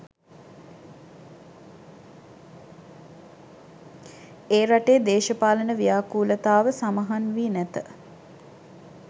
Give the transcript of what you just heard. ඒ රටේ දේශපාලන ව්‍යාකූලතාව සමහන් වී නැත